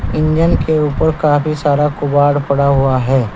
Engine के ऊपर काफी सारा कबाड़ पड़ा हुआ है।